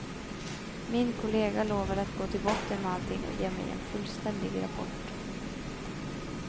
Min kollega lovade att gå till botten med allting och ge mig en fullständig rapport.